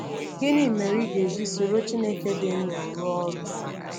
Gịnị mere ị ga-eji soro Chineke dị ndụ rụọ ọrụ?